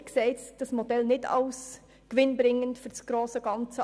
Ich erachte dieses Modell nicht als gewinnbringend für das grosse Ganze.